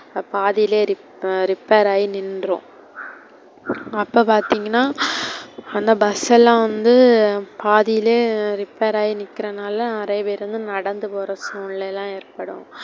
பாதியிலே repair ஆயி நின்றும். அப்போ பார்த்திங்கனா அந்த bus எல்லாம் வந்து பாதியிலே bus repair ஆயி நிக்குறனாலா நெறைய பேரு நடந்து போற சூழ்நில ஏற்படும்.